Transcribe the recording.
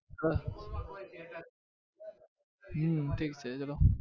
હા હમ ઠીક છે ચલો.